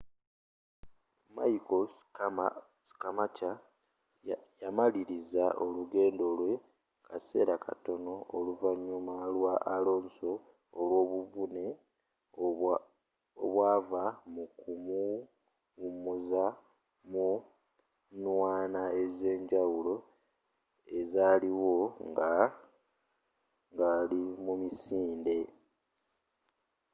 michael schumacher yamaliliza olugendo lwe kaseera katono oluvanyuma lwa alonso olwobuvune obwava mu kumuwumuza mu nnwana ezenjawulo ezaaliwo ngali mu misinde